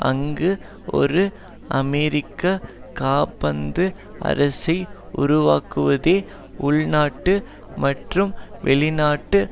அங்கு ஒரு அமெரிக்க காபந்து அரசை உருவாக்குவதே உள்நாட்டு மற்றும் வெளிநாட்டு